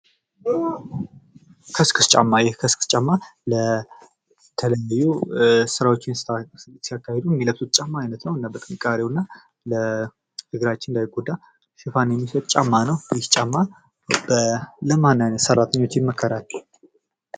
ከስክስ ጫማ ይህ ከስክስ ጫማ ለተለያዩ ስራዎችን ሲያካሂዱ የሚለብሱት የጫማ አይነት ነው። እና በጥንካሬው እና ለእግራችን እንዳይጎዳ ሽፋን የሚሰጥ ጫማ ነው። ይህ ጫማ ለማን አይነት ሰራተኞች ይመከራል?